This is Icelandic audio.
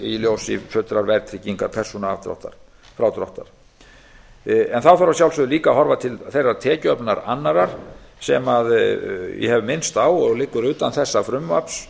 í ljósi fullrar verðtryggingar persónufrádráttar þá þarf að sjálfsögðu líka að horfa til þeirrar tekjuöflunar annarrar sem ég hef minnst á og liggur utan þessa frumvarps